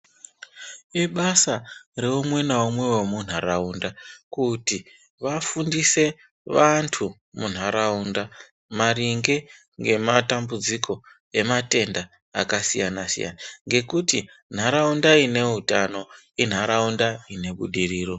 Ibasa reumwe naumwe wemunharaunda kuti vafundise vantu munharaunda maringe nematambudziko akasiyana siyana ngekuti nharaunda ine utano inharaunda ine budiriro.